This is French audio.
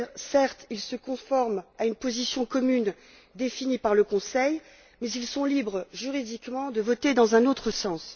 Certes, ils se conforment à une position commune définie par le Conseil, mais ils sont libres, juridiquement, de voter dans un autre sens.